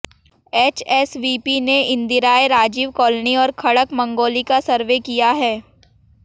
HSVP ने इंदिराए Rajiv colony और खड़क मंगौली का सर्वे किया है